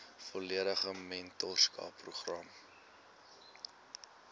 volledige mentorskap program